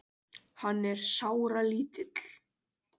Hann er sáralítill.